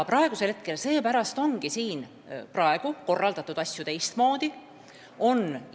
Seepärast ongi nüüd asju teistmoodi korraldatud.